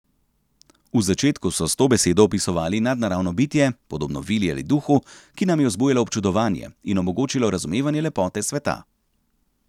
V začetku so s to besedo opisovali nadnaravno bitje, podobno vili ali duhu, ki nam je vzbujalo občudovanje in omogočilo razumevanje lepote sveta.